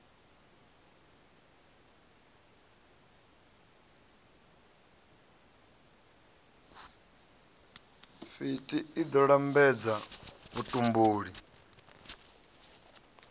fti i ḓo lambedza vhutumbuli